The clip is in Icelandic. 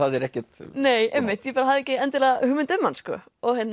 hafðir ekkert nei einmitt ég hafði ekki endilega hugmynd um hann sko